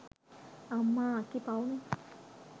අම්මා අක්කි පව්නේ